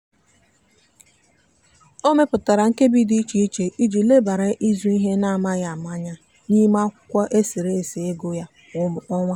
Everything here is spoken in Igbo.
ọ mepụtara nkebi dị iche iche iji lebara ịzụ ihe n'amaghị ama anya n'ime akwụkwọ e sere ese ego ya kwa ọnwa.